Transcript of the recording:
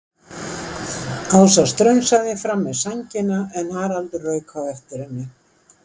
Ásta strunsaði fram með sængina en Haraldur rauk á eftir henni.